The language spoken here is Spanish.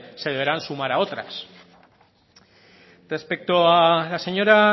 se deberán sumar a otras respecto a la señora